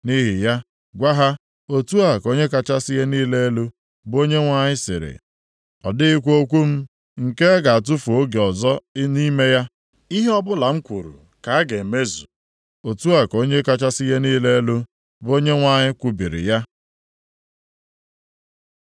“Nʼihi ya, gwa ha, ‘Otu a ka Onye kachasị ihe niile elu, bụ Onyenwe anyị sịrị, ọ dịghịkwa okwu m nke a ga-atụfu oge ọzọ nʼime ya, ihe ọbụla m kwuru ka a ga-emezu. Otu a ka Onye kachasị ihe niile elu, bụ Onyenwe anyị kwubiri ya.’ ”